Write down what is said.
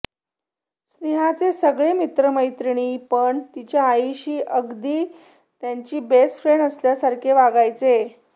स्नेहाचे सगळे मित्र मैत्रिणी पण तिच्या आईशी अगदी त्यांची बेस्ट फ्रेंड असल्यासारखे वागायचे